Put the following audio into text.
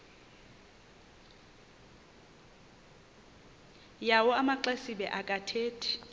yawo amaxesibe akathethi